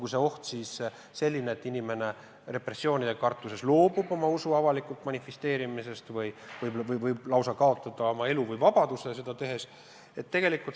See oht võib olla selline, et inimene repressioonide kartuses loobub oma usku avalikult manifesteerimast või lausa kaotab sel põhjusel elu.